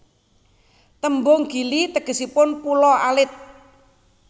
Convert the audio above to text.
Tembung Gili tegesipun pulo alit